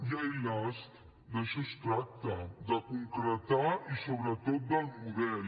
i ai las d’això es tracta de concretar i sobretot del model